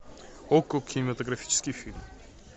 окко кинематографический фильм